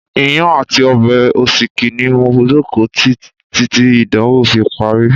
Iyán àti ọbẹ̀ òsíkí ni mo jókòó tí títí ìdánwò fi parí.